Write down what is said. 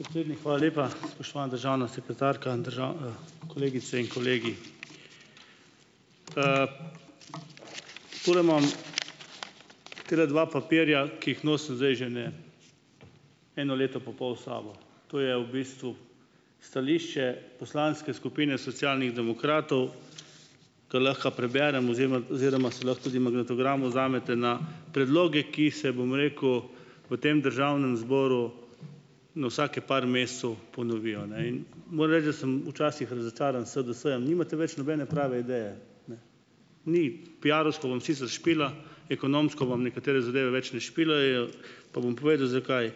Predsednik, hvala lepa. Spoštovana državna sekretarka, n držav, kolegice in kolegi! Tule imam tale dva papirja, ki jih nosim zdaj že ene eno leto pa pol s sabo. To je v bistvu stališče poslanske skupine Socialnih demokratov, kar lahko preberem oziroma oziroma si lahko tudi magnetogram vzamete, na predloge ki se, bom rekel, v tem državnem zboru na vsake par mesecev ponovijo, ne. In moram reči, da sem včasih razočaran s SDS-jem. Nimate več nobene prave ideje. Ni. Piarovsko vam sicer špila, ekonomsko vam nekatere zadeve več ne špilajo, pa bom povedal, zakaj.